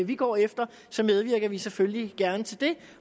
vi går efter medvirker vi selvfølgelig gerne til det